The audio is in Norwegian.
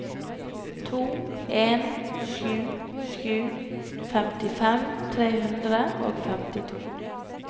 to en sju sju femtifem tre hundre og femtito